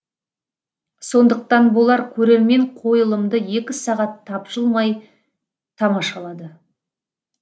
сондықтан болар көрермен қойылымды екі сағат тапжылмай тамашалады